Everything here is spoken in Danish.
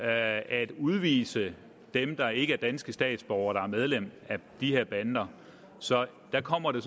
at udvise dem der ikke er danske statsborgere og som er medlem af de her bander så der kommer det